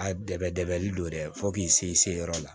A dɛmɛni don dɛ fo k'i se i se yɔrɔ la